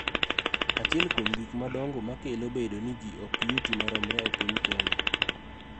Achiel kuom gik madongo ma kelo bedo ni ji ok yuti maromre e piny Kenya